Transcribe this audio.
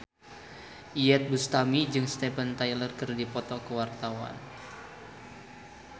Iyeth Bustami jeung Steven Tyler keur dipoto ku wartawan